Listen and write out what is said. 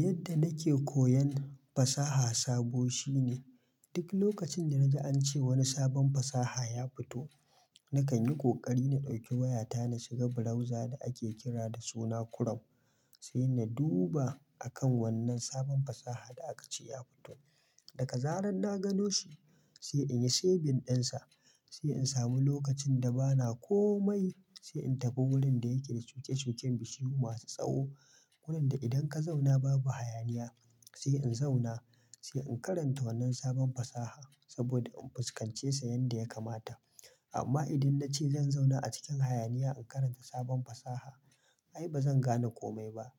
Yadda nake koyon fasaha sabo shine. Duk lokacin da na ji an ce wani sabon fasaha ya fito, na kan yi ƙoƙari na ɗauki wayata, na shiga browser da ake kira da suna Chrome, sai na duba a kan wannan sabon fasaha da aka ce ya fito. Daka zarar na gano shi sai in yi saving ɗinsa, sai in sami lokacin da bana komai, sai in tafi wurin da yake da cukucuken bishiyu masu tsawo, wurin da idan ka zauna babu hayaniya, sai in zauna, sai in karanta wannan sabon fasaha saboda in fuskance shi yadda ya kamata. Amma idan na ce zan zauna a cikin hayaniya in karanta sabon fasaha ai ba zan gane komai ba.